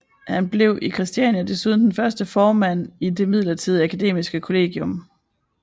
Han blev i Christiania desuden den første formand i det midlertidige akademiske kollegium